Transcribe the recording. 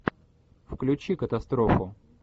включи катастрофу